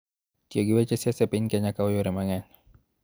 Tiyo gi weche siasa e piny Kenya kawo yore mang�eny